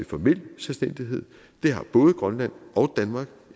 formel selvstændighed det har både grønland og danmark